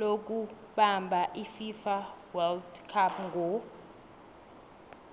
lokubamab ififa wold cup ngo